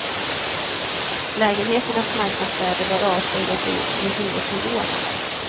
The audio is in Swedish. Lägenheternas marknadsvärde bör avspegla sig i hyresnivåerna.